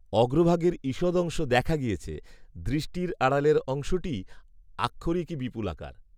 অগ্রভাগের ঈষদংশ দেখা গিয়াছে, দৃষ্টির আড়ালের অংশটি আক্ষরিকই বিপুলাকার